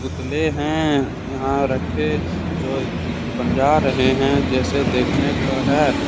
पुतले हैं यहां रखें जो बजा रहे हैं जैसे देखने को है।